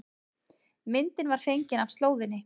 Myndin var fengin á slóðinni